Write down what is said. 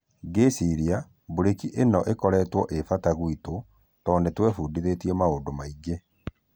"Ngĩciria breki ĩno ĩkoretwo e fata gwitũ tũndũ nĩtwefũndithĩtie maũndu maingĩ.